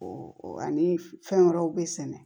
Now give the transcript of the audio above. ani fɛn wɛrɛw bɛ sɛnɛ